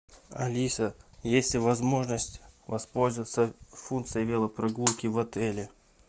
алиса есть ли возможность воспользоваться функцией велопрогулки в отеле